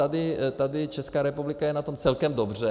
A tady Česká republika je na tom celkem dobře.